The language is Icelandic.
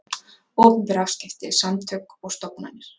Opinber afskipti, samtök og stofnanir.